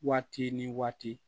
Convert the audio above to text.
Waati ni waati